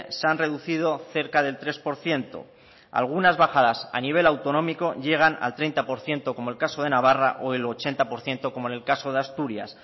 se han reducido cerca del tres por ciento algunas bajadas a nivel autonómico llegan al treinta por ciento como el caso de navarra o el ochenta por ciento como en el caso de asturias